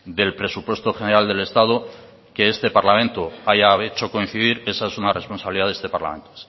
del presupuesto general del estado que este parlamento haya hecho coincidir esa es una responsabilidad de este parlamento